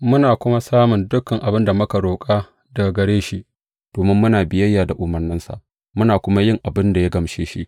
Muna kuma samun dukan abin da muka roƙa daga gare shi, domin muna biyayya da umarnansa, muna kuma yin abin da ya gamshe shi.